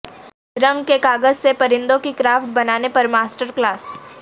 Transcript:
رنگ کے کاغذ سے پرندوں کی کرافٹ بنانے پر ماسٹر کلاس